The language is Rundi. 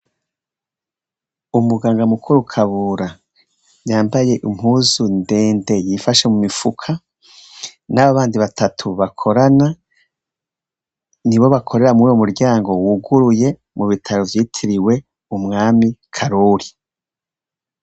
Umuganga mukuru Kabura yambaye impuzu ndende yifashe mu mifuka n'abandi batatu bakorana, nibo bakorera muri uwo muryango wuguruye mu bitaro vyitiriwe umwami Karori.